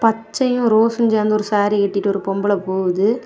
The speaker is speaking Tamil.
பச்சையு ரோஸ்ஷும் சேந்த ஒரு சாரீ கட்டிட்டு ஒரு பொம்பள போகுது.